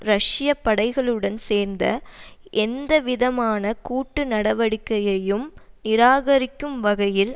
ரஷ்ய படைகளுடன் சேர்ந்த எந்தவிதமான கூட்டு நடவடிக்கையையும் நிராகரிக்கும் வகையில்